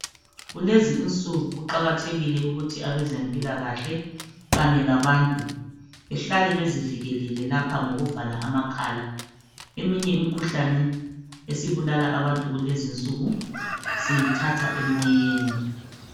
Kulezi insuku kuqakathekile ukuthi abantu bezempilakahle kanye labantu behlale bezivikelele lapha kanye ngokuvala amakhala. Eminye imikhuhlane esibulala abantu siyithatha emoyeni